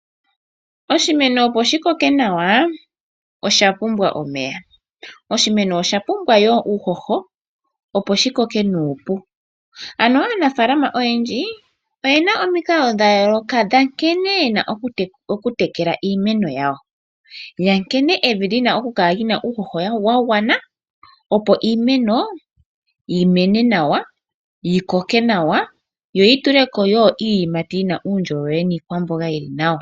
Oshimeno opo shi koke nawa osha pumbwa omeya. Oshimeno osha pumbwa woo uuhoho, opo shi koke nuupu. Aanafaalama oyendji oye na omikalo dha yooloka dha nkene ye na okutekela iimeno yawo, nkene evi li na okukala li na uuhoho wa gwana, opo iimeno yi mene nawa, yi koke nawa yo yi tule ko wo iiyimati yi na uundjolowele niikwamboga yi li nawa.